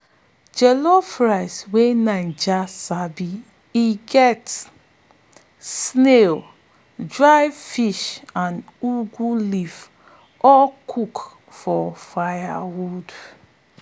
dem go sabi add crayfish and scent leaf um mix um for fried egg wey make breakfast sweet-sweet.